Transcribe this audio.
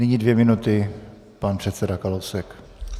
Nyní dvě minuty - pan předseda Kalousek.